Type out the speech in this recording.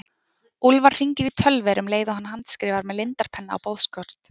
Úlfar hringir í Tölver um leið og hann handskrifar með lindarpenna á boðskort.